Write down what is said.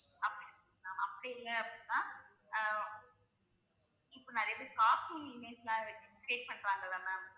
அப்படி இல்லை அப்படின்னா அஹ் இப்போ நிறைய பேர் cartoon image எல்லாம் வெச்சு create பண்றாங்கல்ல ma'am